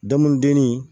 Daŋundennin